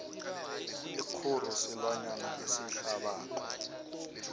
ikguru silwanyana esihlabako